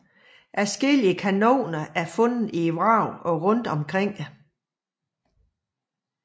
Adskillige kanoner er genfundet i vraget og rundt omkring det